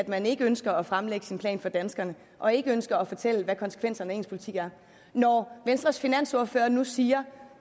man ikke ønsker at fremlægge sin plan for danskerne og ikke ønsker at fortælle hvad konsekvenserne af ens politik er når venstres finansordfører nu siger